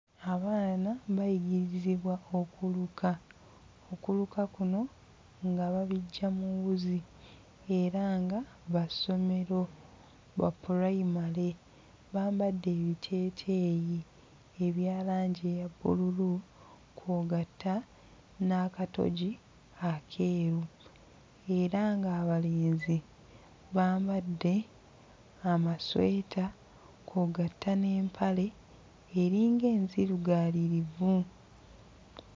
Abaana bayirigirizibwa okuluka, okuluka kuno nga babiggya mu wuzi era nga ba ssomero, ba pulayimale, bambadde ebiteeteeyi ebya langi eya bbululu kw'ogatta n'akatogi akeeru era ng'abalenzi bambadde amasweta kw'ogatta n'empale eringa enzirugaalirivu.